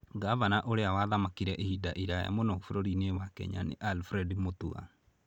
Ngavana ũrĩa wathamakire ihinda iraya mũno bũrũri-inĩ wa Kenya nĩ Alfred Mutua.